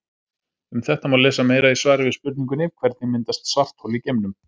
Um þetta má lesa meira í svari við spurningunni Hvernig myndast svarthol í geimnum?